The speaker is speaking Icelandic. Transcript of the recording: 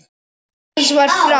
Kona hans var frá